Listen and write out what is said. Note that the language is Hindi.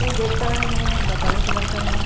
ये गेट का रंग जो है बादामी कलर का है।